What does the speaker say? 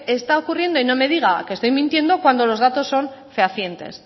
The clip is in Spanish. está ocurriendo y no me diga que estoy mintiendo cuando los datos son fehacientes